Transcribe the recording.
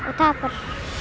og tapar